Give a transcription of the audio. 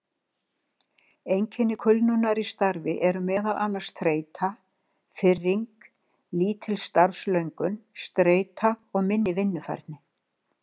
Einkenni kulnunar í starfi eru meðal annars þreyta, firring, lítil starfslöngun, streita og minni vinnufærni.